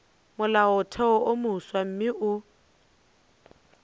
molaotheo wo mofsa mme o